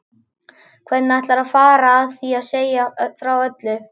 Hvernig ætlarðu að fara að því að segja frá öllu?